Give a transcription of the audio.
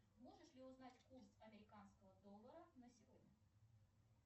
можешь ли узнать курс американского доллара на сегодня